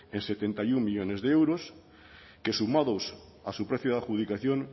ets en setenta y uno millónes de euros que sumados a su precio de adjudicación